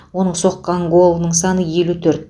оның соққан голының саны елу төрт